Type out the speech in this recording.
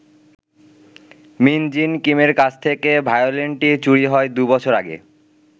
মিন Jin কিমের কাছ থেকে ভায়োলিনটি চুরি হয় দু বছর আগে।